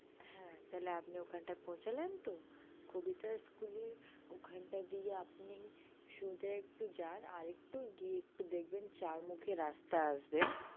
হে তালে আপনি ওখানটায় পৌঁছালেন তো কবিতা school এর ওখানটা দিয়ে আপনি সোজা একটু যান আরেকটু যান দেখবে চারমুখো একটি রাস্তা আসবে